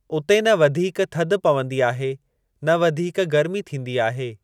उते न वधीक थधि पवंदी आहे , न वधीक गर्मी थींदी आहे।